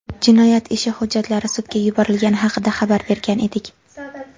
jinoyat ishi hujjatlari sudga yuborilgani haqida xabar bergan edik.